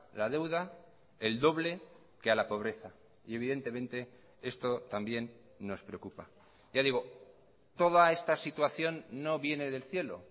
la deuda el doble que a la pobreza y evidentemente esto también nos preocupa ya digo toda esta situación no viene del cielo